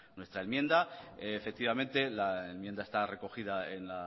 nuestra enmienda efectivamente la enmienda está recogida en